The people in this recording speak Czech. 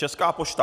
Česká pošta.